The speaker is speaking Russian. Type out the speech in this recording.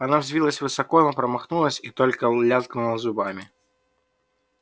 она взвилась высоко но промахнулась и только лязгнула зубами